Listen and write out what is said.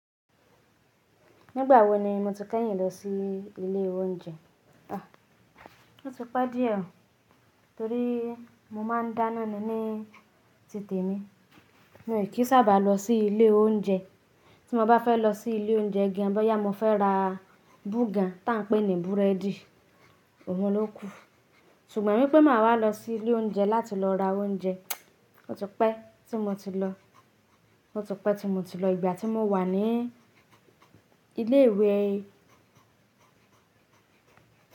Nígbà wo ni mo ti kẹ́yìn lọ sí ilé oúnjẹ? O ti pẹ́ díẹ̀, torí mo máa ń dáná ni ní títì mi. Mi ò kí sábà lọ sí ilé oúnjẹ. Tí mo bá fẹ́ lọ sí ilé oúnjẹ gé, bọ́yá mo fẹ́ ra búgà tá ń pè ní búrẹ́dì, òun ló kú. Ṣùgbọ́n wẹ pé màá wá lọ sí ilé oúnjẹ láti lọ ra oúnjẹ, ó ti pẹ́ tí mo ti lọ. Ó ti pẹ́ tí mo ti lọ ìgbà tí mo wà ní ilé ìwé.